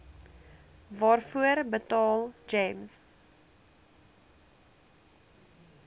waarvoor betaal gems